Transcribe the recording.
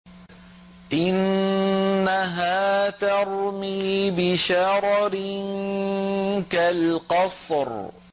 إِنَّهَا تَرْمِي بِشَرَرٍ كَالْقَصْرِ